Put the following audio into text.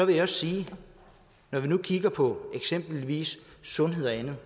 jeg sige når vi nu kigger på eksempelvis sundhed og andet